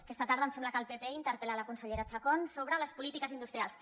aquesta tarda em sembla que el pp interpel·la la consellera chacón sobre les polítiques industrials